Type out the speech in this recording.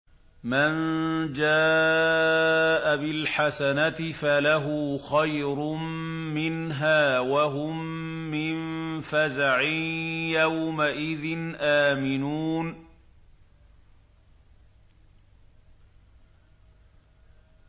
مَن جَاءَ بِالْحَسَنَةِ فَلَهُ خَيْرٌ مِّنْهَا وَهُم مِّن فَزَعٍ يَوْمَئِذٍ آمِنُونَ